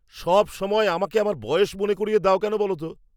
সবসময় আমাকে আমার বয়স মনে করিয়ে দাও কেন বলো তো!